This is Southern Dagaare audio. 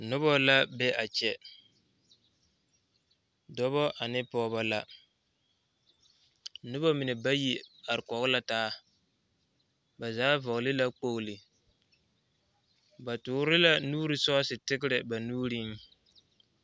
Noba la be a kyɛ dɔba ane pɔgeba la noba mine bayi are kɔg la taa ba zaa vɔgle la kpogle ba tɔɔre la nuuri sɔɔsi tigtɛ ba nuuriŋ.